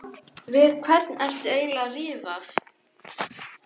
Við hvern ertu eiginlega að rífast?